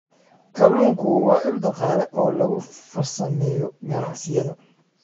Kalluunku waa il dhaqaale oo lagu farsameeyo ganacsiyada.